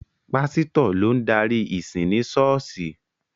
Pásítọ̀ ló ń darí ìsìn ni ṣọ́ọ̀ṣì.